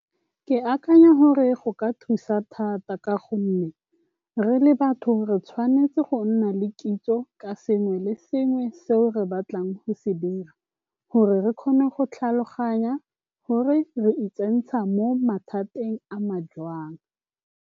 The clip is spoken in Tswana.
Ke akanya gore go ka thusa thata ka gonne re le batho re tshwanetse go nna le kitso ka sengwe le sengwe seo re batlang go se dira, gore re kgone go tlhaloganya gore re itsentsha mo mathateng a ma jang.